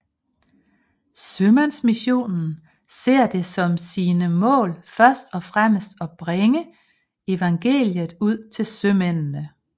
Sømandsmissionen ser det som sine mål først og fremmest at bringe evangeliet ud til sømændene